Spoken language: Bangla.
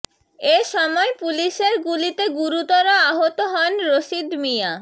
এ সময় পুলিশের গুলিতে গুরুতর আহত হন রশিদ মিয়া